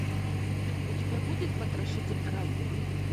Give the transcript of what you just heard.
у тебя будет потрошитель разума